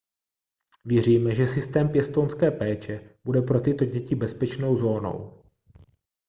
věříme že systém pěstounské péče bude pro tyto děti bezpečnou zónou